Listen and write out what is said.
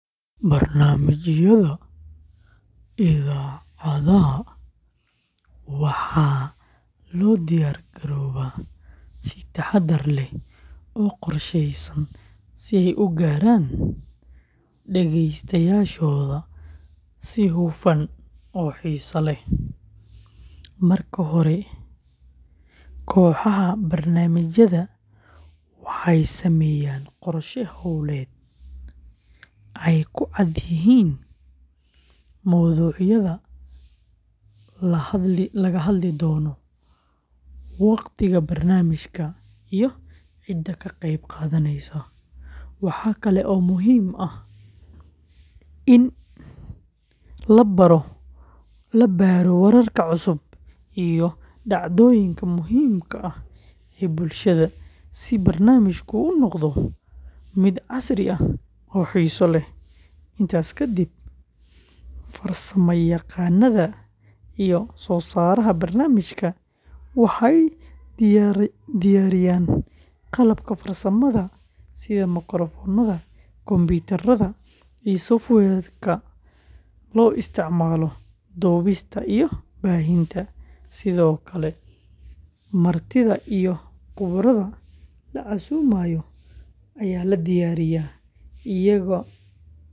Barnaamijyada idaacadaha waxaa loo diyaargaroobaa si taxadar leh oo qorsheysan si ay u gaaraan dhagaystayaashooda si hufan oo xiiso leh. Marka hore, kooxaha barnaamijyada waxay sameeyaan qorshe hawleed ay ku cad yihiin mowduucyada la hadli doono, waqtiga barnaamijka, iyo cidda ka qayb qaadanaysa. Waxa kale oo muhiim ah in la baaro wararka cusub iyo dhacdooyinka muhiimka ah ee bulshada si barnaamijku u noqdo mid casri ah oo xiiso leh. Intaas kadib, farsamayaqaannada iyo soo-saaraha barnaamijka waxay diyaariyaan qalabka farsamada sida makarafoonada, kombuyuutarada, iyo software-ka loo isticmaalo duubista iyo baahinta.